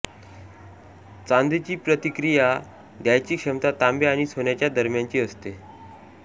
चांदीची प्रतिकीय द्यायची क्षमता तांबे आणि सोन्याच्या दरम्यानची असते